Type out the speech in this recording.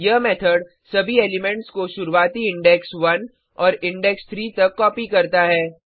यह मेथड सभी एलिमेंट्स को शुरुवाती इंडेक्स 1 और इंडेक्स 3 तक कॉपी करता है